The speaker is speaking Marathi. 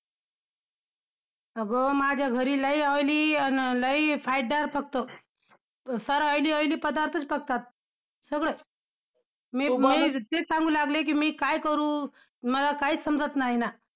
अगं, माझ्या घरी लय oily अन लय पकतो. फार oily oily पदार्थच पकतात. सगळे. मी मी तेच सांगू लागले कि मी काय करू? मला काहीच समजत नाही ना!